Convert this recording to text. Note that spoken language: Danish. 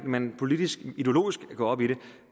man politisk og ideologisk går op i det